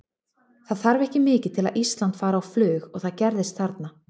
Það þarf ekki mikið til að Ísland fari á flug og það gerðist þarna.